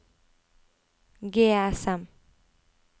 GSM